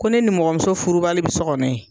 Ko ne nimɔgɔmuso furubali bi so kɔnɔ yen.